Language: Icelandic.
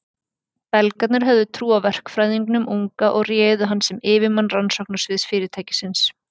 Belgarnir höfðu trú á verkfræðingnum unga og réðu hann sem yfirmann rannsóknarsviðs fyrirtækisins.